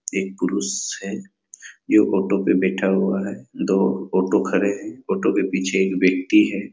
ये क्रूस है ये ऑटो पर बैठा हुआ है दो ऑटो खड़े है ऑटो के पीछे एक व्यक्ति है।